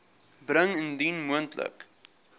bring indien moontlik